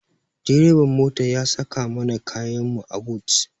Direban mota ya saka mana kayanmu a but.